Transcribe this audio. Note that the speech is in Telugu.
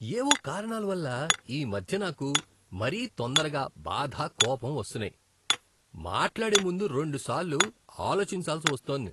ఏవో కారణాల వల్ల, ఈ మధ్య నాకు మరీ తొందరగా బాధ, కోపం వస్తున్నాయి, మాట్లాడే ముందు రెండుసార్లు ఆలోచించాల్సి వస్తోంది.